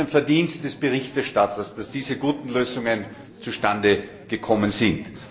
Es ist das Verdienst des Berichterstatters, dass diese guten Lösungen zustande gekommen sind.